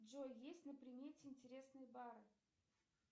джой есть на примете интересные бары